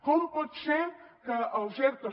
com pot ser que els ertos